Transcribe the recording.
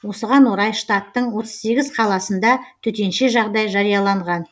осыған орай штаттың отыз сегіз қаласында төтенше жағдай жарияланған